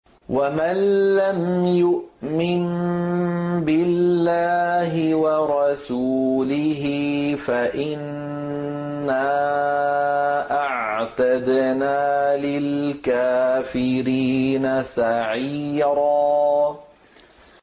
وَمَن لَّمْ يُؤْمِن بِاللَّهِ وَرَسُولِهِ فَإِنَّا أَعْتَدْنَا لِلْكَافِرِينَ سَعِيرًا